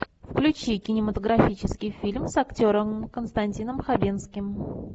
включи кинематографический фильм с актером константином хабенским